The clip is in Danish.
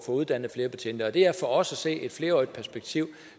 uddannet flere betjente det er for os at se et flerårigt perspektiv